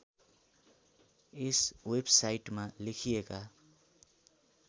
यस वेबसाइटमा लेखिएका